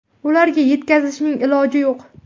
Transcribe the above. Ularga yetkazishning iloji yo‘q.